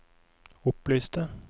opplyste